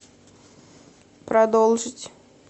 продолжить